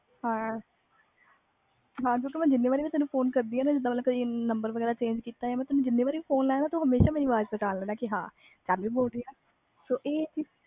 ਹਾਂ ਕਿਓਂਕਿ ਮੈਂ ਜਿਨਿ ਵਾਰ phone ਕੀਤੀ ਕਿਸੇ ਹੋਰ ਦੇ number ਤੂੰ ਓਹਨੀ ਵਾਰ ਮੇਰੀ ਅਵਾਜ ਪਹਿਚਾਣ ਲਈ ਕਿ ਜਾਨਵੀ ਆ